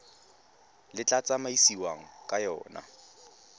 le tla tsamaisiwang ka yona